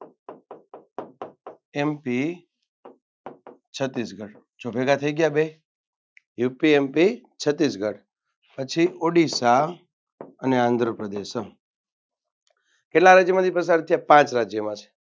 MP Chhattisgarh જો ભેગા થઈ ગયા બે UPMP છત્તીસગઢ પછી ઓડીસા અને આંધ્રપ્રદેશ કેટલા રાજ્યમાંથી પસાર થાય પાંચ રાજ્યમાંથી